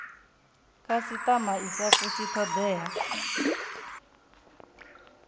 khasitama i sa fushi thodea